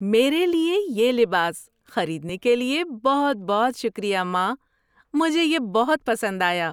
میرے لیے یہ لباس خریدنے کے لیے بہت بہت شکریہ، ماں! مجھے یہ بہت پسند آیا۔